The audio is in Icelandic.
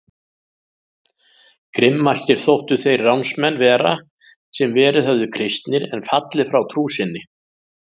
Grimmastir þóttu þeir ránsmenn vera sem verið höfðu kristnir en fallið frá trú sinni.